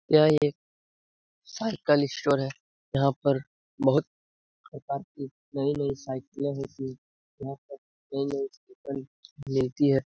यह एक cycle store है। यहाँ पर बहुत प्रकार की नई-नई साइकिलें मिलती। यहाँ पर नई-नई मिलती है।